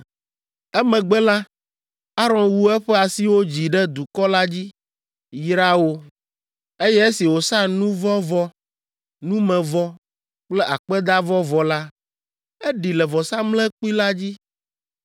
Emegbe la, Aron wu eƒe asiwo dzi ɖe dukɔ la dzi, yra wo; eye esi wòsa nu vɔ̃ vɔ, numevɔ, kple akpedavɔ vɔ la, eɖi le vɔsamlekpui la dzi.